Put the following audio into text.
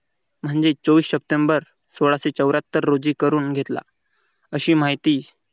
म्हणजे चोवीस सप्टेंबर सोळाशे चौऱ्यात्तर रोजी करून घेतला. अशी माहिती